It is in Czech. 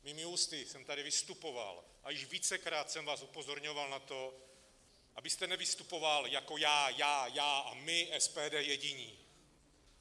Svými ústy jsem tady vystupoval a již vícekrát jsem vás upozorňoval na to, abyste nevystupoval jako "já, já, já a my SPD jediní".